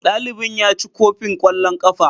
dalibin ya ci kofin kwallon kafa.